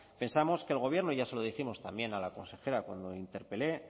pensamos que el gobierno y ya se lo dijimos también a la consejera cuando interpelé